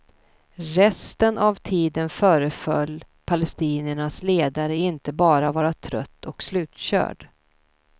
Resten av tiden föreföll palestiniernas ledare inte bara vara trött och slutkörd.